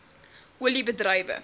olie bedrywe